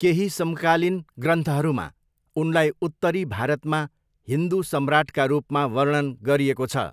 केही समकालीन ग्रन्थहरूमा उनलाई उत्तरी भारतमा हिन्दु सम्राटका रूपमा वर्णन गरिएको छ।